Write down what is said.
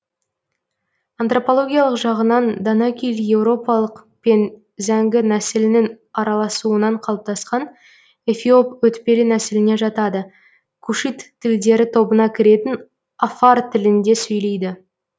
антропологиялық жағынан данакиль еуропалық пен зәңгі нәсілінің араласуынан қалыптасқан эфиоп өтпелі нәсіліне жатады кушит тілдері тобына кіретін афар тілінде сөйлейді